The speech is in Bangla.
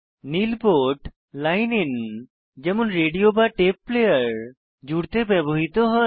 নীল পোর্ট লাইন ইন যেমন রেডিও বা টেপ প্লেয়ার জুড়তে ব্যবহৃত হয়